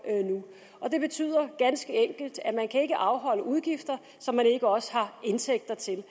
nu og det betyder ganske enkelt at man ikke kan afholde udgifter som man ikke også har indtægter til